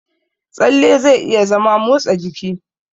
Tsalle zai iya zama motsa jiki.